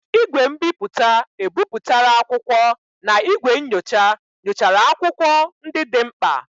igwe mbiputa ebipụtara akwụkwọ na igwe nyocha nyochara akwụkwọ ndị dị mkpa.